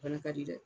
Fana ka di dɛ